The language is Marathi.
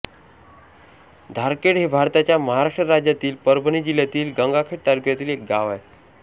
धारखेड हे भारताच्या महाराष्ट्र राज्यातील परभणी जिल्ह्यातील गंगाखेड तालुक्यातील एक गाव आहे